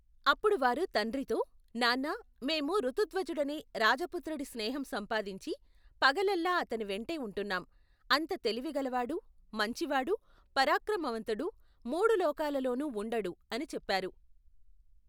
అప్పుడు వారు తండ్రితో, నాన్నా మేము ఋతుధ్వజుడనే, రాజపుత్రుడి స్నేహం సంపాదించి పగలల్లా అతనివెంటే ఉంటున్నాం, అంత తెలివిగలవాడు మంచివాడు, పరాక్రమవంతుడు, మూడులోకాలలోనూ ఉండడు అని చెప్పారు.